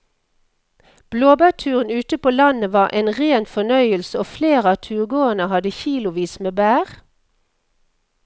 Blåbærturen ute på landet var en rein fornøyelse og flere av turgåerene hadde kilosvis med bær.